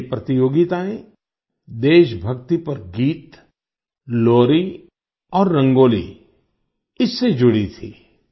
ये प्रतियोगिताएं देशभक्ति पर गीतलोरी और रंगोली इससे जुडी थीं